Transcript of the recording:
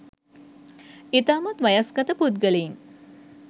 ඉතාමත් වයස්ගත පුද්ගලයින්